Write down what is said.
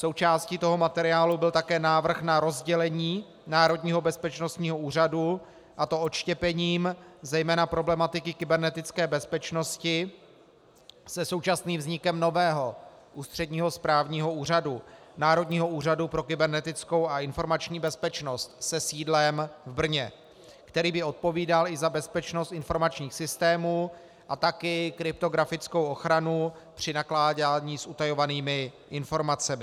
Součástí toho materiálu byl také návrh na rozdělení Národního bezpečnostního úřadu, a to odštěpením zejména problematiky kybernetické bezpečnosti se současným vznikem nového ústředního správního úřadu - Národního úřadu pro kybernetickou a informační bezpečnost se sídlem v Brně, který by odpovídal i za bezpečnost informačních systémů a také kryptografickou ochranu při nakládání s utajovanými informacemi.